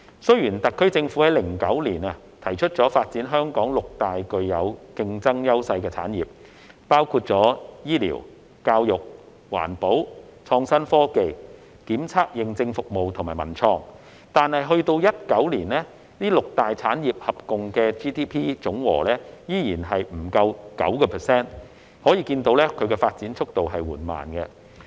雖然特區政府於2009年提出發展香港六大具有競爭優勢的產業，包括醫療、教育、環保、創新科技、檢測認證服務及文創，但直至2019年，該六大產業合共佔 GDP 依然不足 9%， 可見發展速度緩慢。